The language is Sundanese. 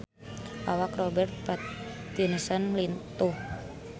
Awak Robert Pattinson lintuh